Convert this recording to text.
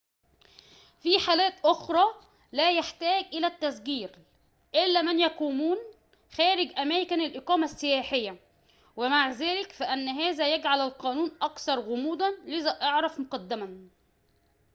في حالات أخرى لا يحتاج إلى التسجيل إلا من يقيمون خارج أماكن الإقامة السياحية ومع ذلك فإن هذا يجعل القانون أكثر غموضاً لذا اعرف مقدماً